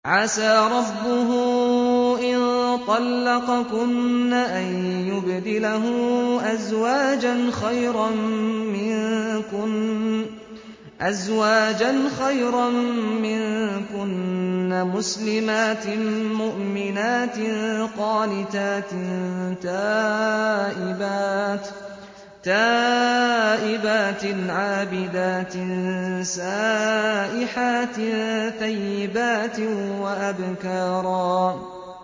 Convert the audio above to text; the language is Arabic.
عَسَىٰ رَبُّهُ إِن طَلَّقَكُنَّ أَن يُبْدِلَهُ أَزْوَاجًا خَيْرًا مِّنكُنَّ مُسْلِمَاتٍ مُّؤْمِنَاتٍ قَانِتَاتٍ تَائِبَاتٍ عَابِدَاتٍ سَائِحَاتٍ ثَيِّبَاتٍ وَأَبْكَارًا